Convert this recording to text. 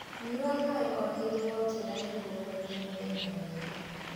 Nyua maĩ o hĩndĩ wokira nĩguo kuambia mũthenya wega